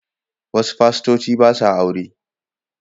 Wasu fastoci ba sa aure.